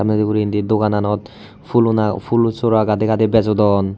Saamne guri indi dogananit phool sora gaaday gaaday bejodon.